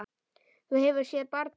Þú hefur séð barnið?